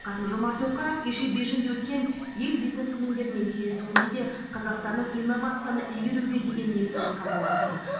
қасым жомарт тоқаев кеше бейжіңде өткен ел бизнесмендерімен кездесуінде де қазақстанның инновацияны игеруге деген ниетін айтқан болатын